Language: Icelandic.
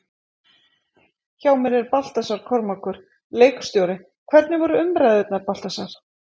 Hjá mér er Baltasar Kormákur, leikstjóri, hvernig voru umræðurnar, Baltasar?